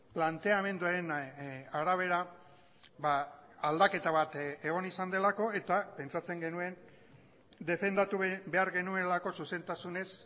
planteamenduaren arabera aldaketa bat egon izan delako eta pentsatzen genuen defendatu behar genuelako zuzentasunez